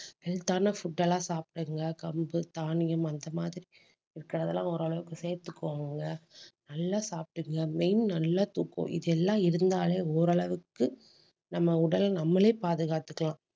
health ஆன food எல்லாம் சாப்பிடுங்க கம்பு, தானியம் அந்த மாதிரி இருக்கிறதெல்லாம் ஓரளவுக்கு சேர்த்துக்கோங்கங்க நல்லா சாப்பிட்டுக்குங்க. main நல்லா தூக்கம் இதெல்லாம் இருந்தாலே ஓரளவுக்கு நம்ம உடல் நம்மளே பாதுகாத்துக்கலாம்